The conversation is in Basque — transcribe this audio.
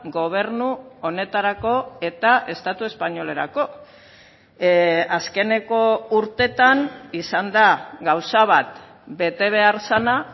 gobernu honetarako eta estatu espainolerako azkeneko urteetan izan da gauza bat bete behar zena